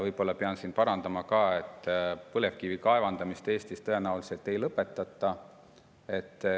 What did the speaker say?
Võib-olla pean parandama ka, et põlevkivi kaevandamist Eestis tõenäoliselt ei lõpetata.